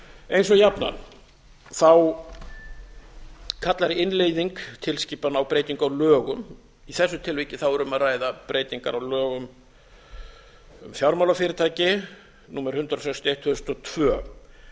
eins og jafnan kaaalr innleiðing tilskipana á breytingu á lögum í þessu tilviki er um að ræða breytingar á lögum um fjármálafyrirtæki númer hundrað sextíu og eitt tvö þúsund og tvö